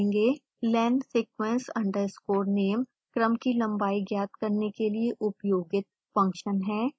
lensequence underscore name क्रम की लंबाई ज्ञात करने के लिए उपयोगित फंक्शन है